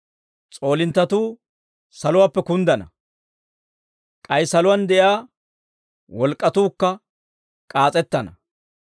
S'oolinttatuu saluwaappe kunddana. K'ay saluwaan de'iyaa wolk'k'atuukka k'aas'ettana.